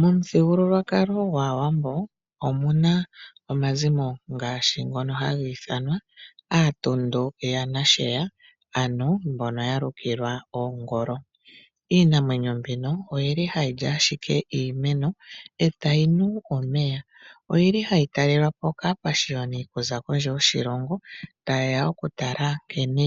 Momuthigululwakalo gwAawambo omuna omazimo ngaashi ngono hagi ithanwa aatundu yaNasheya mbono yalukilwa oongolo. Iinamwenyo mbino ohayi li ashike omwiidhi eta yunu omeya. Oyili hayi talelwa po kaapashiyoni okuza kondje yoshilongo ta yeya oku tala nkene